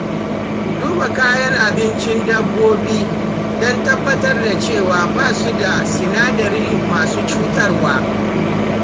Duba kayan abincin dabbobi don tabbatar da cewa ba su da sinadarai masu cutarwa.